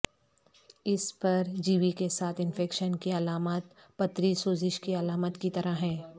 اس پرجیوی کے ساتھ انفیکشن کی علامات پتری سوزش کی علامات کی طرح ہیں